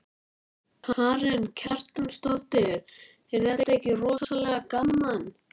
Karen Kjartansdóttir: Er þetta ekki rosalega gaman?